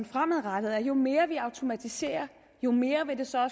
fremadrettet er at jo mere vi automatiserer jo mere vil det så